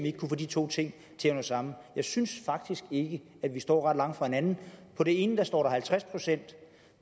ikke kunne få de to ting til at nå sammen jeg synes faktisk ikke at vi står ret langt fra hinanden på det ene står der halvtreds procent